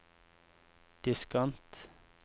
diskant